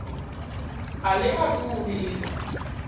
a li athu u vhigwa